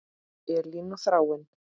Elín og Þráinn.